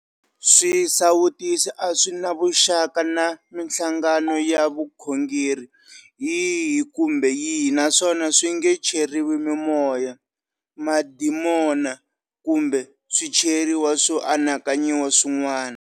Swi sawutisi a swi na vuxaka na mihlangano ya vukhongeri yihi kumbe yihi naswona swi nge cheriwi mimoya, mademona kumbe swicheriwa swo anakanyiwa swin'wana.